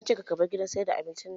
Ya ce "Kar kabar gidan sayar da abincin"!